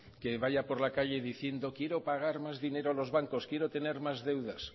que vaya por la calle diciendo quiero pagar más dinero a los bancos quiero tener más deudas